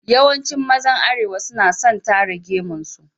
Yawancin mazan Arewa suna son tara gemun su.